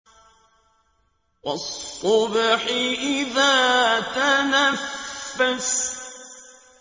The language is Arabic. وَالصُّبْحِ إِذَا تَنَفَّسَ